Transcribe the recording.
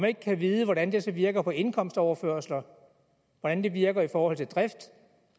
ikke kan vide hvordan det så virker på indkomstoverførsler hvordan det virker i forhold til drift